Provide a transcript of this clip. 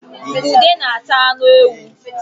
ude na-ata anụ ewu